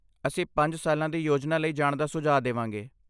ਅਸੀਂ ਪੰਜ ਸਾਲਾਂ ਦੀ ਯੋਜਨਾ ਲਈ ਜਾਣ ਦਾ ਸੁਝਾਅ ਦੇ ਵਾਂਗੇ